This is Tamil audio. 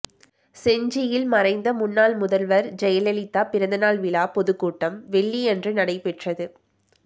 செஞ்சியில் மறைந்த முன்னாள் முதல்வர் ஜெயலலிதா பிறந்தநாள் விழா பொதுக்கூட்டம் வெள்ளி அன்று நடைபெற்றது